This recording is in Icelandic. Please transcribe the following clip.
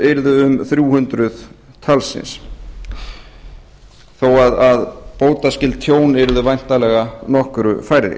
yrðu um þrjú hundruð talsins þó að bótaskyld tjón yrðu væntanlega nokkru færri